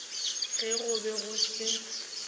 ge go be go se